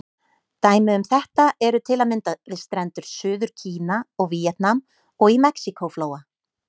Dæmi um þetta eru til að mynda við strendur Suður-Kína og Víetnam, og í Mexíkó-flóa.